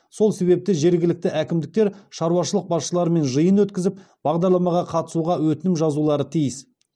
сол себепті жергілікті әкімдіктер шаруашылық басшыларымен жиын өткізіп бағдарламаға қатысуға өтінім жазулары тиіс